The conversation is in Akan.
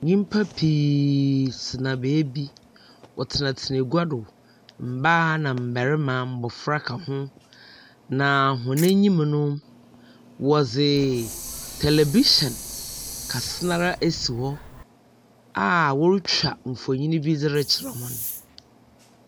Nyimpa pii tsena baabi . Wɔtsena tsena egua do. Mmaa, nammɛrima, mmɔfra so ka ho. Na wɔn enyim no wɔdze tɛlɛfihyɛn kɛse n'ara esi hɔ a wɔretwa mfoni bi rekyerɛ hɔn.